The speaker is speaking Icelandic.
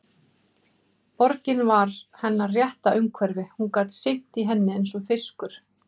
Borgin var hennar rétta umhverfi, hún gat synt í henni eins og fiskur.